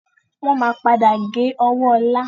Wọn máa padà gé ọwọ́ ọlá